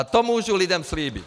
A to můžu lidem slíbit!